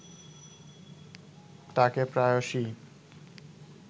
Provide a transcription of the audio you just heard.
তাকে প্রায়শই